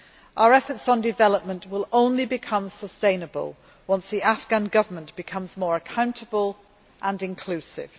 Our efforts on development will only become sustainable once the Afghan Government becomes more accountable and inclusive.